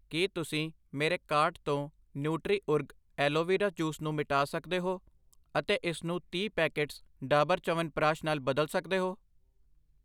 ਕੀ ਤੁਸੀਂ ਮੇਰੇ ਕਾਰਟ ਤੋਂ ਨੁਟਰੀ ਓਰਗ ਐਲੋਵੇਰਾ ਜੂਸ ਨੂੰ ਮਿਟਾ ਸਕਦੇ ਹੋ ਅਤੇ ਇਸਨੂੰ ਤੀਹ ਪੈਕੇਟਸ ਡਾਬਰ ਚਯਵਨਪ੍ਰਕਾਸ਼ ਨਾਲ ਬਦਲ ਸਕਦੇ ਹੋ